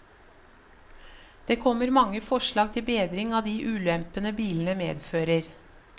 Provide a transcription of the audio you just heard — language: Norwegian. Det kommer mange forslag til bedring av de ulempene bilene medfører.